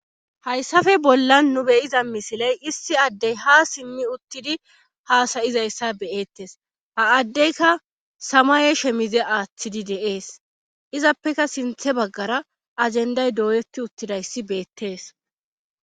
hayssafe bolla nu beyiza misiley issi addey ha simmi uttidi haasayizayssa beyeettes ha addeyka samaye shemize aaththidi deees izappeka sinthe baggara ajenday dooyeti uttidayssi beettees